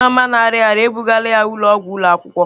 Nneoma na-arịa ọrịa, e bugala ya ụlọọgwụ ụlọ akwụkwọ.